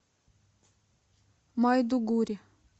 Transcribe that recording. майдугури